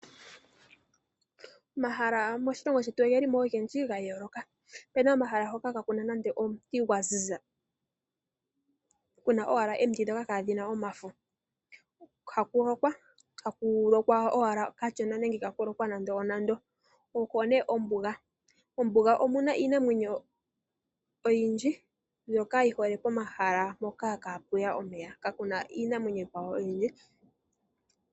Omahala moshilongo shetu oge limo ogendji ga yooloka. Opena oma hala hoka kaakuna nande omuti gwa ziza, kuna owala omiti ndhoka kaadhina omafo, ha ku lokwa, ha ku lokwa owala kashona nenge ka ku lokwa nandenande. Okwo ne ombuga. Ombuga omuna iinamwenyo oyindji mbyoka yi hole komahala hoka kapu ya omeya. Kakuna iinamwenyo oyindji.